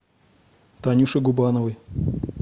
танюше губановой